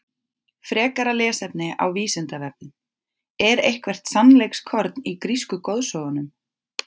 Frekara lesefni á Vísindavefnum: Er eitthvert sannleikskorn í grísku goðsögunum?